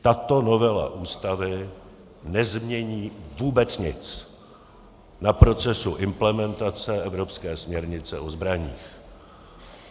Tato novela Ústavy nezmění vůbec nic na procesu implementace evropské směrnice o zbraních.